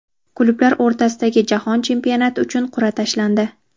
Klublar o‘rtasidagi jahon chempionati uchun qurʼa tashlandi.